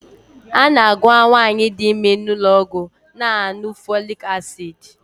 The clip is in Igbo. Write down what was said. A na-agwa nwaanyị di ime n'ụlọọgwụ na-aṅụ folik asid.